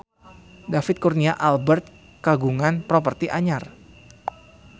David Kurnia Albert kagungan properti anyar